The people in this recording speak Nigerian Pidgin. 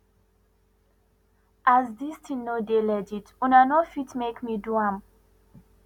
as dis tin no dey legit una no ft make me do am